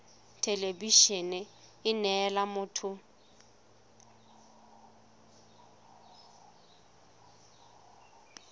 thelebi ene e neela motho